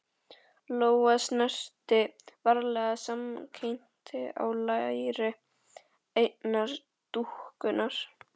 Lóa snerti varlega samskeytin á læri einnar dúkkunnar.